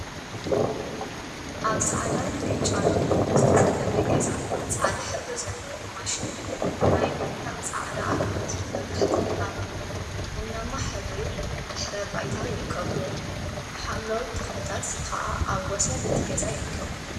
ኣብ ጻዕዳን ብጫን ዝተለመጸ ገዛ ጻዕዳ ሕብሪ ዘለዎም ማሽንን ናይ መንደቅ እንዳ ኣቁሑትን መብራህቲን ኣብ ቡናማ ሕብሪ ድሕረ ባይታይርከቡዎም። ሓምለዎት ተክሊታት ከዓ ኣብ ወሰን እቲ ገዛ ይርከቡ።